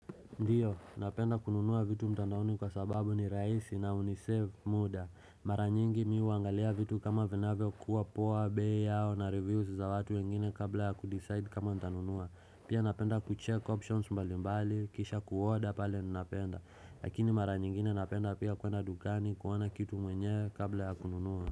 Ndio, napenda kununua vitu mtandaoni kwa sababu ni rahisi na unisave muda. Mara nyingi mi huangalia vitu kama vinavyo kuwa poa bei yao na reviews za watu wengine kabla ya kudeside kama ntanunua. Pia napenda kucheck options mbali mbali, kisha kuoda pale nnapenda. Lakini mara nyingine napenda pia kuenda dukani kuona kitu mwenyewe kabla ya kununua.